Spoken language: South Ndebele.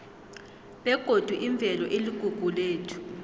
begodi imvelo iligugu lethu